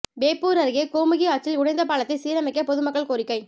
வேப்பூர் அருகே கோமுகி ஆற்றில் உடைந்த பாலத்தை சீரமைக்க பொதுமக்கள் கோரிக்கை